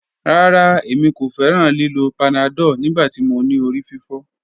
Rara, Emi ko fẹran lilo panadol nigbati mo ni orififo.